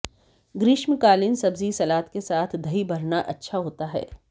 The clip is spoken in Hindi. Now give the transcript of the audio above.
ग्रीष्मकालीन सब्जी सलाद के साथ दही भरना अच्छा होता है